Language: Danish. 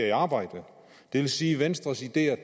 i arbejde det vil sige at venstres ideer